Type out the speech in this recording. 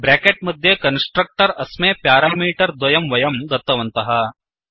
bracket मध्ये constructor अस्मै parameter द्वयं वयं दत्तवन्तः